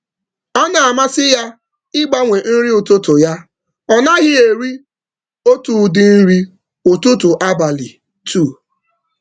Ọ na-enwe mmasị n’ụdị dị iche iche, ọ naghị eri otu nri ụtụtụ ụbọchị abụọ n’usoro.